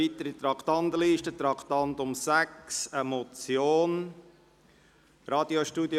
Wir kommen zum Traktandum 6, der Motion «